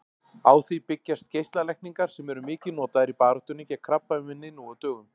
Á því byggjast geislalækningar sem eru mikið notaðar í baráttunni gegn krabbameini nú á dögum.